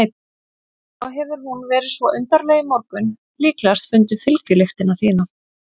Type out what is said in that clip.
Svo hefur hún verið svo undarleg í morgun, líklegast fundið fylgjulyktina þína.